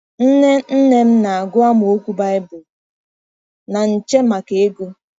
Nne nne m na-agụ amaokwu Baịbụl na nche maka ego.